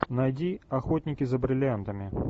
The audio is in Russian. найди охотники за бриллиантами